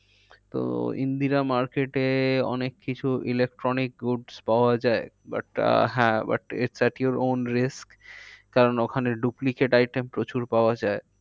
তো ইন্দ্রিরা market এ অনেক কিছু electronics goods পাওয়া যায়। but আহ হ্যাঁ but it at yours own risk কারণ ওখানে duplicate item প্রচুর পাওয়া যায়।